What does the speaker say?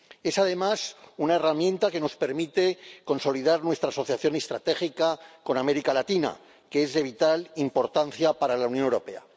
Es, además, una herramienta que nos permite consolidar nuestra asociación estratégica con América Latina, que es de vital importancia para la Unión Europea.